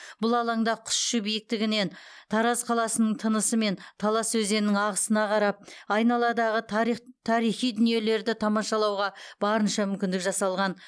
бұл алаңда құс ұшу биіктігінен тараз қаласының тынысы мен талас өзенінің ағысына қарап айналадағы тарих тарихи дүниелерді тамашалауға барынша мүмкіндік жасалған